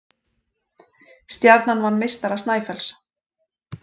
Stjarnan vann meistara Snæfells